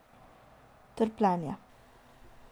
Trpljenje.